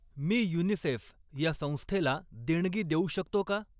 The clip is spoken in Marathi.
मी युनिसेफ ह्या संस्थेला देणगी देऊ शकतो का?